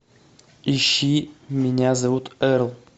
ищи меня зовут эрл